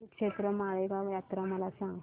श्रीक्षेत्र माळेगाव यात्रा मला सांग